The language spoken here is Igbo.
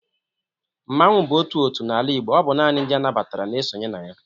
Mmanwu bụ otu otu n'ala Igbo ọ bụ nani ndị a nabatara n'esonye na ya.